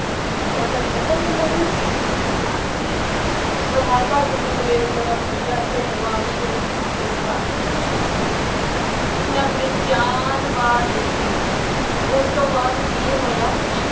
ਉਹਦਾ ਛੋਟਾ ਮੁੰਡਾ ਵੀ ਸੀ। ਹਾਂ ਸੀ। ਪਠਾਨ ਭੱਜ ਕੇ ਮਲੇਰਕੋਟਲਾ ਪੁੱਜਾ ਅਤੇ ਨਵਾਬ ਸ਼ੇਰ ਮੁਹੰਮਦ ਖਾਂ ਨੇ ਆਪਣੀ ਜਾਨ ਵਾਰ ਦਿੱਤੀ। ਉਸ ਤੋਂ ਬਾਅਦ ਕੀ ਹੋਇਆ।